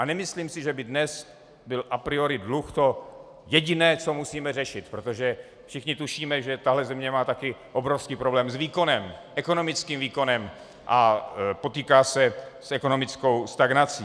A nemyslím si, že by dnes byl a priori dluh to jediné, co musíme řešit, protože všichni tušíme, že tahle země má taky obrovský problém s výkonem, ekonomickým výkonem, a potýká se s ekonomickou stagnací.